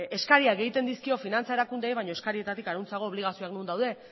eskariak egiten dizkio finantza erakundeei baina eskarietatik harago obligazioak non daude